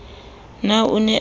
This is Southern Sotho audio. na o ne o a